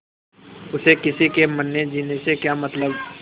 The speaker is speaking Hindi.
उसे किसी के मरनेजीने से क्या मतलब